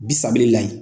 Bi sabali la